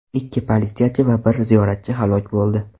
Ikki politsiyachi va bir ziyoratchi halok bo‘ldi.